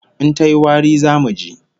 In tayi wari, zamu ji